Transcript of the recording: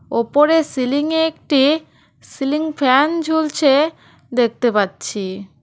ওপরে সিলিংয়ে একটি সিলিং ফ্যান ঝুলছে দেখতে পাচ্ছি।